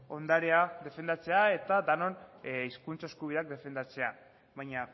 ondarea defendatzea eta denon hizkuntza eskubidea defendatzea baina